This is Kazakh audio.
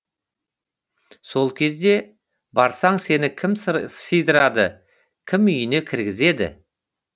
сол кезде барсаң сені кім сыйдырады кім үйіне кіргізеді